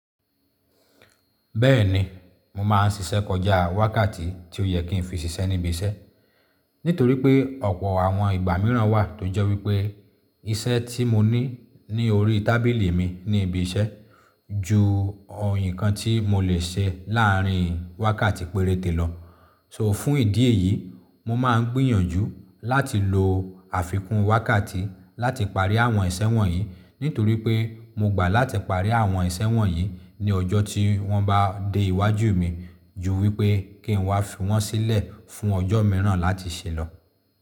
Bẹ́ẹ̀ni, mo máa ń ṣiṣẹ́ kọjá wákàtí tí ó yẹ kí n fi ṣiṣẹ́ ní ibi iṣẹ́. Nítorí pé ọ̀pọ̀ àwọn ìgbà mìíràn wà tó jẹ́ wípé isẹ́ tí mo ní ní orí tábìlì mi ní ibi iṣẹ́ ju o nkan tí mo lè ṣe láàrin wákàtí péréte lọ. So fún ìdí èyí, mo máa ń gbìyànjú láti lo àfikún wákàtí láti parí àwọn ìsẹ̀wọ̀n yìí nítorí pé mo gbà láti parí àwọn ìsẹ̀wọ̀n yìí ní ọjọ́ tí wọ́n bá dé iwájú mi ju wípé kí n wá fi wọ́n sílẹ̀ fún ọjọ́ mìíràn láti ṣẹlọ.